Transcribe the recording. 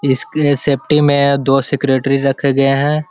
इसके सेफ्टी में दो सेक्रेटरी रखे गये हैं।